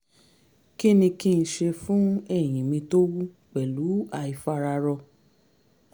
kí ni kí n ṣe fún ẹ̀yìn mí tó wú pẹ̀lú àìfararọ?